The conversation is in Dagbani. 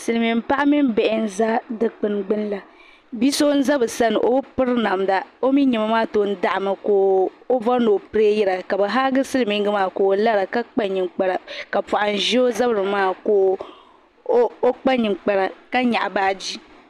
Silmiin paɣa mini bihi nʒɛ dikpuni gbuni la bia so n ʒɛ bi sani o bi piri namda o mii niɛma maa tom daɣami ka o bori ni o pileeyira ka bi haagi silmiingi maa ka o lara ka kpa ninkpara ka poham ʒɛ o zabiri maa ka o kpa ninkpara ka nyaɣa baaji